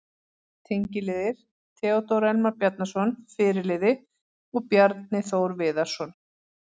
Tengiliðir: Theódór Elmar Bjarnason, fyrirliði og Bjarni Þór Viðarsson.